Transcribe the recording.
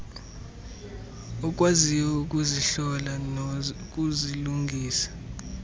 okwaziyo ukuzihlola nokuzilungisa